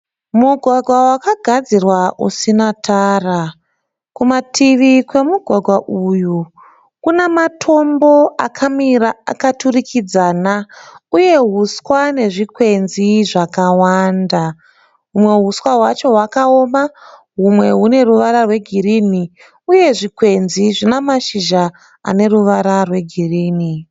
Mugwagwa wakagadzirwa usina tara. Kumativi kwemugwagwa uyu kuna matambo akamira akaturikidzana uye huswa nezvikwemzi zvakawanda. Humwe huswa hwacho hwakaoma humwe hune ruvara rwegirini uye zvikwenzi zvima mashizha aneruvara rwegirini.